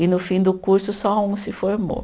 E no fim do curso só um se formou.